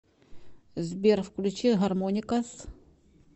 сбер включи гармоникас